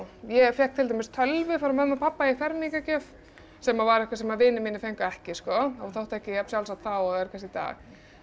ég fékk til dæmis tölvu frá mömmu og pabba í fermingargjöf sem var eitthvað sem vinir mínir fengu ekki þótti ekki jafn sjálfsagt þá og er kannski í dag